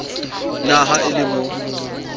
na ha e le mo